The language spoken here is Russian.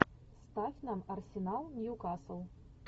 ставь нам арсенал ньюкасл